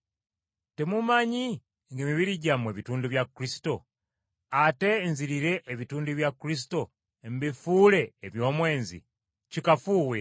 Temumanyi ng’emibiri gyammwe bitundu bya Kristo? Ate nzirire ebitundu bya Kristo mbifuule eby’omwenzi? Kikafuuwe.